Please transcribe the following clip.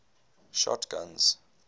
shotguns